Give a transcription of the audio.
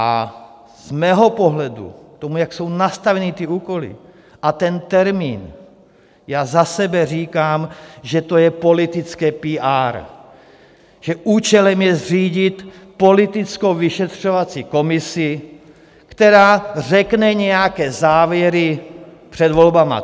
A z mého pohledu, k tomu, jak jsou nastaveny ty úkoly a ten termín, já za sebe říkám, že to je politické píár, že účelem je zřídit politickou vyšetřovací komisi, která řekne nějaké závěry před volbami.